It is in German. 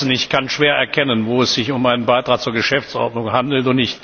Ich kann schwer erkennen, wo es sich um einen Beitrag zur Geschäftsordnung handelt.